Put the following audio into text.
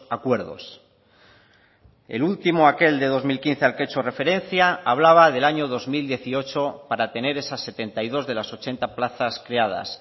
acuerdos el último aquel de dos mil quince al que he hecho referencia hablaba del año dos mil dieciocho para tener esas setenta y dos de las ochenta plazas creadas